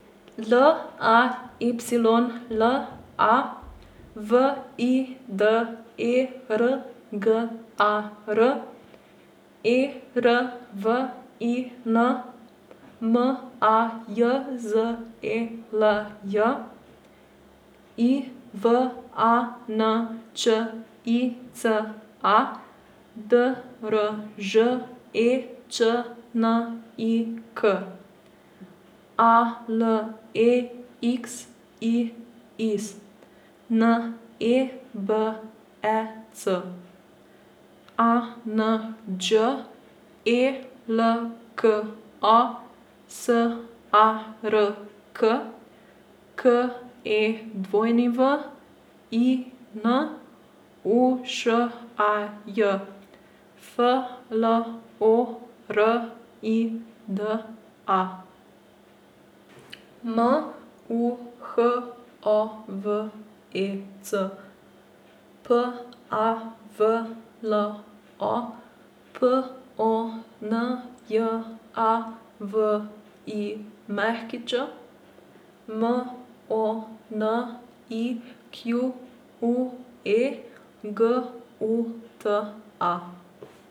L A Y L A, V I D E R G A R; E R V I N, M A J Z E L J; I V A N Č I C A, D R Ž E Č N I K; A L E X I S, N E B E C; A N Đ E L K A, S A R K; K E W I N, U Š A J; F L O R I D A, M U H O V E C; P A V L O, P O N J A V I Ć; M O N I Q U E, G U T A.